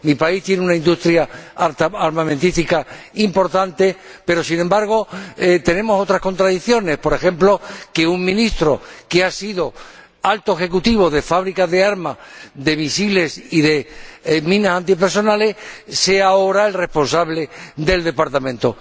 Mi país tiene una industria armamentística importante pero, sin embargo, tenemos otras contradicciones por ejemplo, que un ministro que ha sido alto ejecutivo de fábricas de armas, misiles y minas antipersonales sea ahora el responsable del departamento.